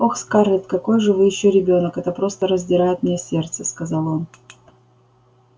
ох скарлетт какой же вы ещё ребёнок это просто раздирает мне сердце сказал он